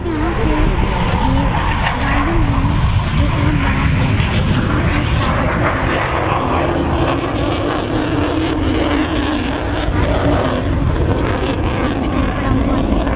यहाँ पे एक गार्डन है जो बहोत बड़ा हैं| यहाँ पे एक टावर भी है| यहाँ एक बोर्ड लगा हुआ है जो पीले रंग का है| पास में एक कुछ टूट पड़ा हुआ है।